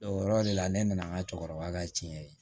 O yɔrɔ de la ne nana n ka cɛkɔrɔba ka tiɲɛ ye